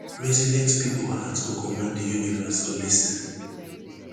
resilient pipo heart go command di universe to lis ten